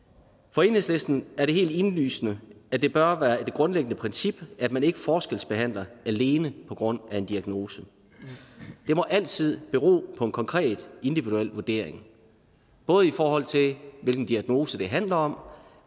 for enhedslisten er det helt indlysende at det bør være et grundlæggende princip at man ikke forskelsbehandler alene på grund af en diagnose det må altid bero på en konkret individuel vurdering både i forhold til hvilken diagnose det handler om